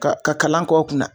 Ka ka kalan kɔ kunna.